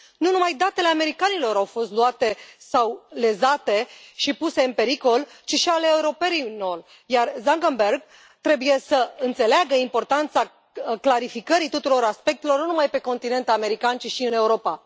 Nu numai datele americanilor au fost luate sau lezate și puse în pericol, ci și ale europenilor, iar Zuckerberg trebuie să înțeleagă importanța clarificării tuturor aspectelor, nu numai pe continentul american, ci și în Europa.